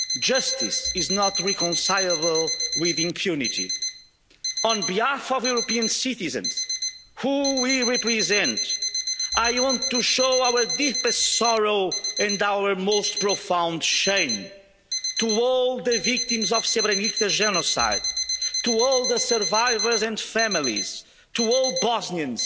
Justice is not reconcilable with impunity. On behalf of the European citizens, who we represent, I want to show our deepest sorrow and our most profound shame to all the victims of the Srebrenica genocide, to all the survivors and families, to all